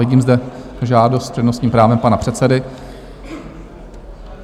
Vidím zde žádost s přednostním právem pana předsedy.